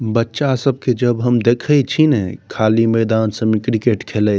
बच्चा सबके जब हम देखे छीने खाली मैदान सब में क्रिकेट खेलएत --